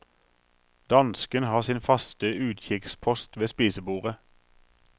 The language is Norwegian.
Dansken har sin faste utkikkspost ved spisebordet.